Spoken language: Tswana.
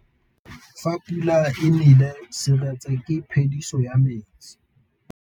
Fa pula e nelê serêtsê ke phêdisô ya metsi.